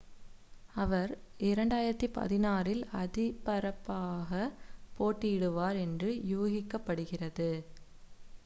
அவர் 2016-இல் அதிபராகப் போட்டியிடுவார் என்று யூகிக்கப்படுகிறது